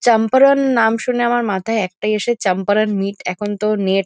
চম্পারন নাম শুনে আমার মাথায় একটাই আসে চম্পারন মিট । এখন তো নেট --